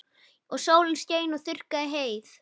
Og sólin skein og þurrkaði heyið.